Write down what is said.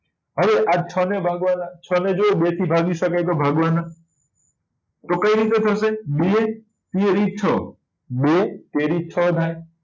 હવે આ છ ને ભાગવા ના છ ને જોવો બે થી ભાગી શકાય તો ભાગવા નાં તો કઈ રીતે થશે બે તેરી છ બે તેરી છ થાય